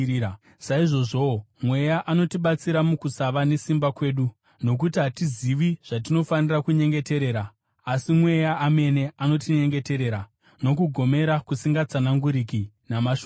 Saizvozvowo, Mweya anotibatsira mukusava nesimba kwedu. Nokuti hatizivi zvatinofanira kunyengeterera, asi Mweya amene anotinyengeterera nokugomera kusingatsananguriki namashoko.